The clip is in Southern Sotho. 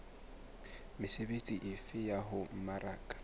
mesebetsi efe ya ho mmaraka